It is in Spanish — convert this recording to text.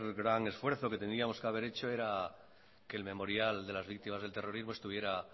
gran esfuerzo que tendríamos que haber hecho era que el memorial de las víctimas del terrorismo estuviera